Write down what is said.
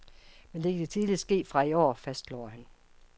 Men det kan tidligst ske fra i år , fastslår han.